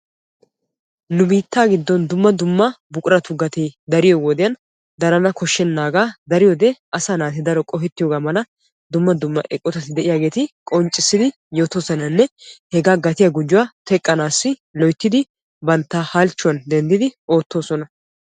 Nu biittaa giddon dumma dumma buquratu gatee dariyoo wodiyaan darana koshshenaaga asaa naati qohettenna mala dumma dumma eqotati de'iyaageti qonccisidi yootosonanne hegaa gatiyaa gujuwaa teqqanaassi loyttidi bantta halchchuwaan denddidi oottoosona.